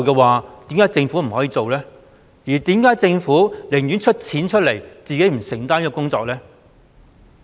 為何政府寧願提供資助卻不自行承擔這項工作呢？